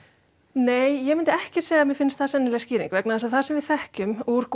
nei ég myndi ekki segja að mér fyndist það sennileg skýring vegna þess að það sem við þekkjum úr